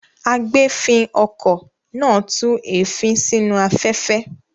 Agbèéfín-okọ̀ náà tú èéfín sínú afẹ́fẹ́.